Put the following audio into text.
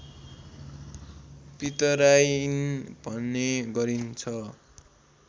पितराइन भन्ने गरिन्छ